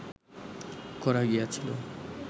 করা গিয়েছিল